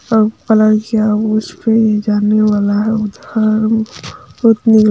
अ पलाजु उसपे जाने वाला है।